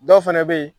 Dɔw fɛnɛ be yen